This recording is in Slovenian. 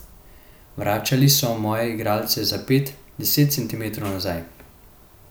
Vračali so moje igralce za pet, deset centimetrov nazaj.